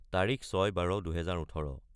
তাৰিখ 06-12-2018